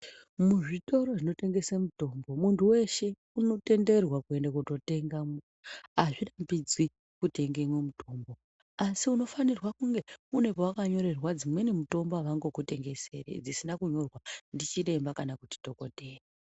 Muzvitoro zvinotengesa mitombo muntu weshe unotenderwa kuenda kundotenga Azvurambidzwi kundotenga umweni mutombo asin unofanirwa kunge wakanyorwerwa mitombo avangokutengeseri dzinenge dzisina kunyorwa ndichiremba kana dhokodheya.